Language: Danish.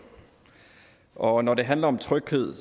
og når det handler om tryghed